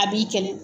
A b'i kɛlɛ